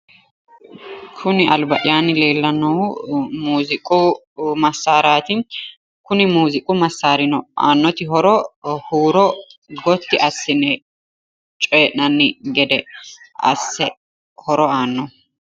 Koni alba'yaanni leellannohu muuziiqu massaaraati kunino aannoti horo huuro gotti assine coyi'nanni gede asse horo annoho.